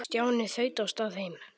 Stjáni þaut af stað heim.